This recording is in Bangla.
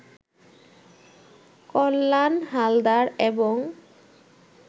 কল্যাণ হালদার এবং